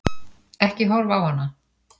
Ekki horfa á hana!